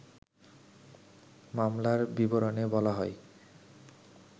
মামলার বিবরণে বলা হয়